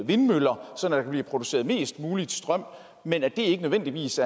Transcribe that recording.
vindmøller sådan kan blive produceret mest mulig strøm men at det ikke nødvendigvis